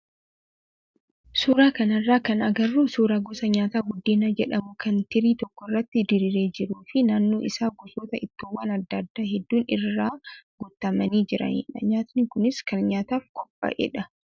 Suuraa kanarraa kan agarru suuraa gosa nyaataa buddeena jedhamu kan tirii tokko irratti diriiree jiruu fi naannoo isaa gosoota ittoowwan adda addaa hedduun irra guutamanii jiranidha. Nyaatni kunis kan kan nyaatamuuf qophaa'edha.